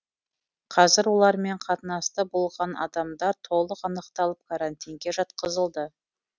қазір олармен қатынаста болған адамдар толық анықталып карантинге жатқызылды